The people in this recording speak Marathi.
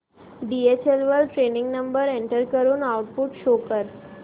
डीएचएल वर ट्रॅकिंग नंबर एंटर करून आउटपुट शो कर